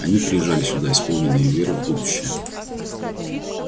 они приезжали сюда исполненные веры в будущее